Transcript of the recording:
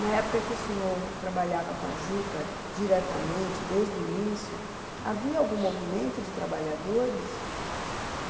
Na época que o senhor trabalhava com a juta, diretamente, desde o início, havia algum movimento de trabalhadores?